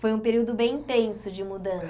Foi um período bem intenso de